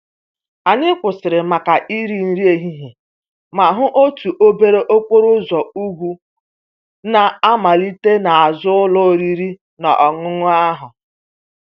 Anyị kwụsịrị maka iri nri ehihie ma hụ otu obere okporo ụzọ ugwu na-amalite n'azụ ụlọ oriri na ọṅụṅụ ahụ.